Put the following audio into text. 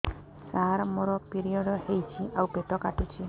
ସାର ମୋର ପିରିଅଡ଼ ହେଇଚି ଆଉ ପେଟ କାଟୁଛି